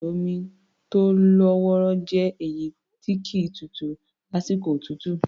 Odò omi tó lọ́ wọrọ́ jẹ́ èyí tí kì í tutù lásìkò òtútù.